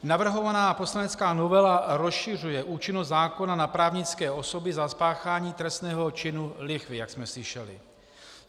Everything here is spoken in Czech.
Navrhovaná poslanecká novela rozšiřuje účinnost zákona na právnické osoby za spáchání trestného činu lichvy, jak jsme slyšeli.